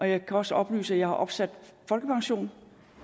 jeg kan også oplyse at jeg har opsat folkepension